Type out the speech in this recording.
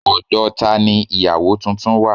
Ọ̀dọ̀ tani ìyáwo tuntun wà